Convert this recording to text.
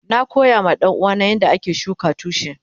Na koya ma danuwa na yanda ake shuka tushi.